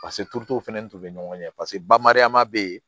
Paseke turutu fɛnɛ tun bɛ ɲɔgɔn ɲɛ paseke bamariyama bɛ yen